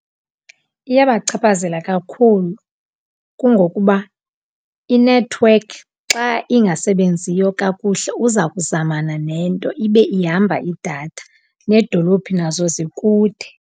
Iyabachaphazela kakhulu kungokuba inethiwekhi xa ingasebenziyo kakuhle uza kuzamana nento ibe ihamba idatha, needolophi nazo zikude.